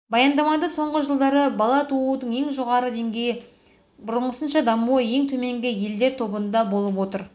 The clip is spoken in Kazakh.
баяндамада соңғы жылдары бала туудың ең жоғарғы деңгейі бұрынғысынша дамуы ең төменгі елдер тобында болып отыр